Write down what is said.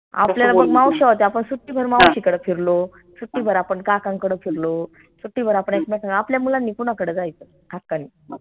मावश्या होत्या आपन सुट्टीभर मावशीकड फिरलो सुट्टीभर आपन काकांकड फिरलो सुट्टीभर आपन एकमेकान आपल्या मुलांनी कुनाकडं जायचं हक्कानी